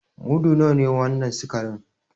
Mudu nawa ne wannan sikarin?